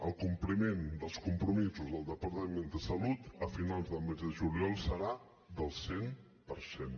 el compliment dels compromisos del departament de salut a finals del mes de juliol serà del cent per cent